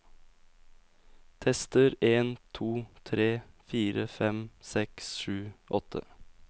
Tester en to tre fire fem seks sju åtte